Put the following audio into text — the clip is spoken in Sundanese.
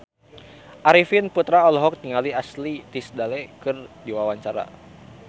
Arifin Putra olohok ningali Ashley Tisdale keur diwawancara